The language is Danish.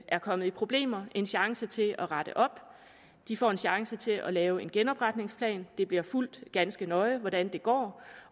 er kommet i problemer en chance til at rette op de får en chance til at lave en genopretningsplan og det bliver fulgt ganske nøje hvordan det går